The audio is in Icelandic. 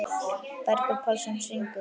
Bergþór Pálsson syngur.